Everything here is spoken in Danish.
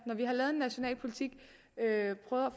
lavet en national politik